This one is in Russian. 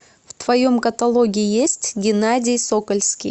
в твоем каталоге есть геннадий сокольский